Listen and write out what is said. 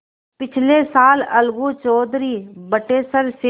पिछले साल अलगू चौधरी बटेसर से